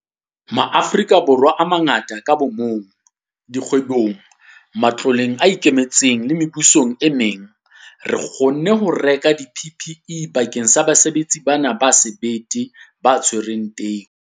Borwa a mangata ka bomong, dikgwebong, matloleng a ikemetseng le mebusong e meng, re kgonne ho reka di-PPE bakeng sa basebetsi bana ba sebete ba tshwereng teu.